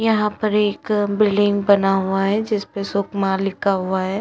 यहाँ पर एक बिल्डिंग बना हुआ है जिसपे सुकमा लिखा हुआ है।